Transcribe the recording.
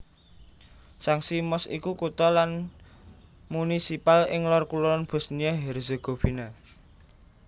Sanski Most iku kutha lan munisipal ing lor kulon Bosnia Herzegovina